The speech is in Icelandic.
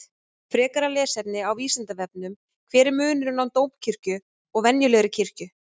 Frekara lesefni á Vísindavefnum: Hver er munurinn á dómkirkju og venjulegri kirkju?